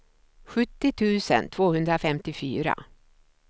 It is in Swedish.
sjuttio tusen tvåhundrafemtiofyra